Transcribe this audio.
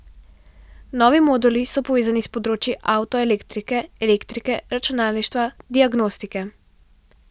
Novi moduli so povezani s področji avtoelektrike, elektrike, računalništva, diagnostike.